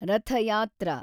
ರಥ ಯಾತ್ರಾ